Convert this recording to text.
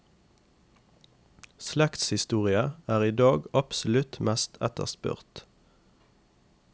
Slektshistorie er i dag absolutt mest etterspurt.